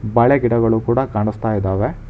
ಬಾಳೆ ಗಿಡಗಳು ಕೂಡ ಕಾಣಿಸ್ತಾ ಇದಾವೆ.